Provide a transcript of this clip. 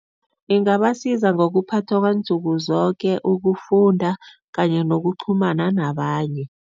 Ingabasiza ngokuphathwa kwansuku zoke, ukufunda kanye nokuqhumana nabanye.